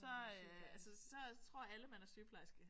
Så øh altså så tror alle man er sygeplejerske